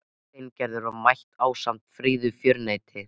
Lolla ræskti sig og víxlaði fótleggjunum á eldhúskollinum.